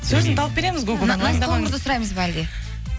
сөзін тауып береміз наз қоңырды сұраймыз ба әлде